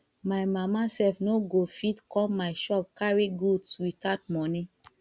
my mama sef no go fit come my shop carry goods without money